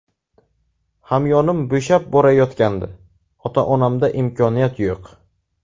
Hamyonim bo‘shab borayotgandi, ota-onamda imkoniyat yo‘q.